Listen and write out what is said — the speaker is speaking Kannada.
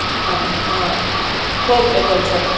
ಹಾ ಹಾ, ಹೋಗ್ಬೇಕು ಒಂದ್ಸರಿ.